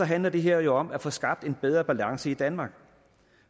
handler det her jo om at få skabt en bedre balance i danmark